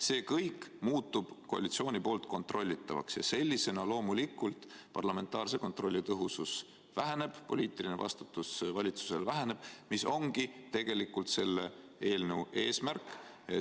See kõik muutub koalitsiooni poolt kontrollitavaks ja sellisena loomulikult parlamentaarse kontrolli tõhusus väheneb, poliitiline vastutus valitsusel väheneb, mis ongi tegelikult selle eelnõu eesmärk.